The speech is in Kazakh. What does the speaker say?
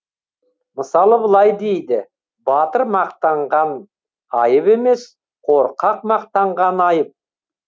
мысалы былай дейді батыр мақтанған айып емес корқақ мақтанған айып